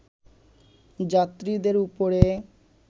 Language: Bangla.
যাত্রীদের উপরে